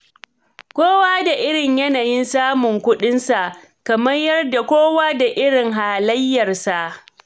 Kowa da irin yanayin samun kuɗinsa, kamar yadda kowa da irin halayyarsa.